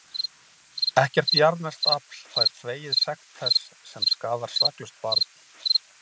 Ekkert jarðneskt afl fær þvegið sekt þess sem skaðar saklaust barn.